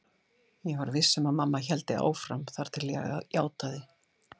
Ég var viss um að mamma héldi áfram þar til ég játaði.